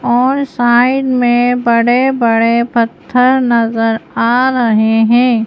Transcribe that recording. और साइड में बड़े-बड़े पत्थर नजर आ रहे हैं।